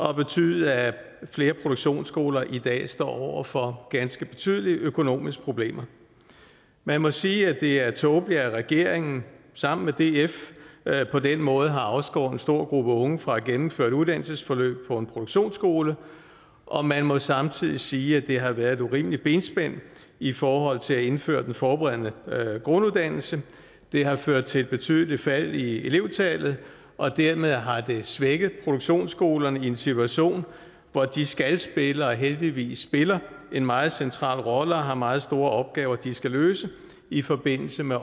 har betydet at flere produktionsskoler i dag står over for ganske betydelige økonomiske problemer man må sige at det er tåbeligt at regeringen sammen med df på den måde har afskåret en stor gruppe unge fra at gennemføre et uddannelsesforløb på en produktionsskole og man må samtidig sige at det har været et urimeligt benspænd i forhold til at indføre den forberedende grunduddannelse det har ført til et betydeligt fald i elevtallet og dermed har det svækket produktionsskolerne i en situation hvor de skal spille og heldigvis spiller en meget central rolle og har meget store opgaver de skal løse i forbindelse med